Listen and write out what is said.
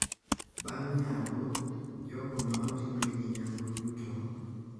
Bang` nyango, jogo ma otimnegi nyango duto,